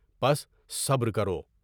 پس صبر کرو۔